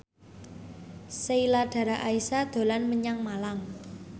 Sheila Dara Aisha dolan menyang Malang